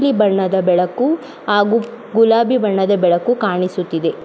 ಬಣ್ಣದ ಬೆಳಕು ಹಾಗು ಗುಲಾಬಿ ಬಣ್ಣದ ಬೆಳಕು ಕಾಣಿಸುತ್ತಿದೆ .